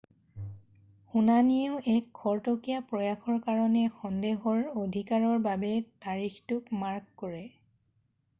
শুনানিয়েও এক খৰতকীয়া প্ৰয়াসৰ কাৰণে সন্দেহৰ অধিকাৰৰ বাবে তাৰিখটোক মাৰ্ক কৰে৷